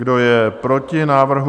Kdo je proti návrhu?